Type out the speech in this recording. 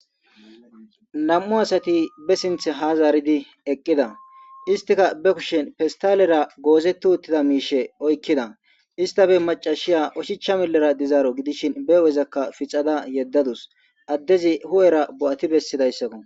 Nam'u asati be sinththe ha zaaridi eqqida isstika be kushshen festalera gozeti uttida mishshe oykkida isstappe maccashiya oshicha millera diizaro gidishin be huphphezakka fixxada yedadusi addezi huphphera bo'ati bessidaysako.